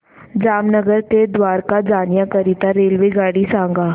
जामनगर ते द्वारका जाण्याकरीता रेल्वेगाडी सांग